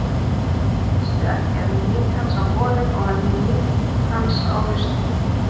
Veistu ekki, að ég nýt hans á vorin og að ég nýt hans á haustin?